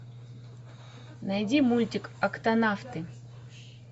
найди мультик октонавты